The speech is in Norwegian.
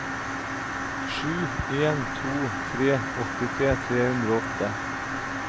sju en to tre åttitre tre hundre og åtte